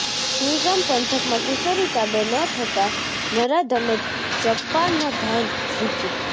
સુઇગામ પંથકમાં કિશોરી તાબે ન થતાં નરાધમે ચપ્પાના ઘા ઝીંક્યાં